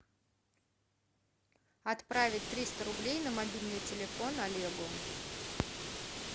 отправить триста рублей на мобильный телефон олегу